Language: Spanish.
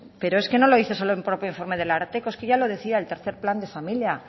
pero es que no lo dice el propio informe del ararteko es que ya lo decía el tercero plan de familia